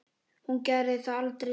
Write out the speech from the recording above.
Hún gerði það aldrei sjálf.